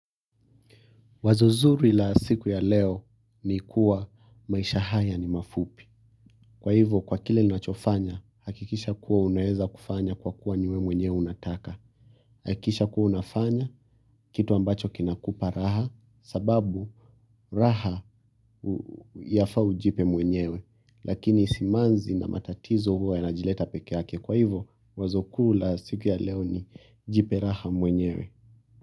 Wazo zuri la siku ya leo ni kuwa maisha haya ni mafupi kwa hivyo kwa kile ninachofanya hakikisha kuwa unaeza kufanya kwa kuwa ni wewe mwenyewe unataka hakikisha kuwa unafanya kitu ambacho kinakupa raha kwa sababu raha yafaa ujipe mwenyewe lakini simanzi na matatizo huwa yanajileta pekee yake. Kwa hivyo wazo kuu la siku ya leo ni jipe raha mwenyewe.